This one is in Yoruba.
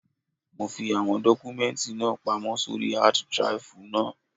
Mo fi àwọn dọ́kúmẹ́ǹtì náà pamọ́ sóri hád draìfù náà.